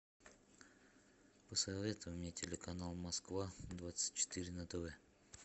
посоветуй мне телеканал москва двадцать четыре на тв